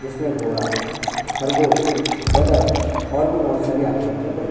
जिससे घोड़ा खरगोश बदक और भी बहुत सारी आकृतियां बनी--